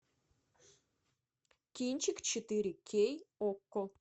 кинчик четыре кей окко